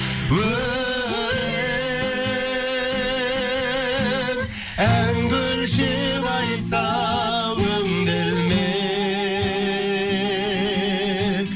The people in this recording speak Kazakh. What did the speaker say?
өлең әнге өлшеп айтса өңделмек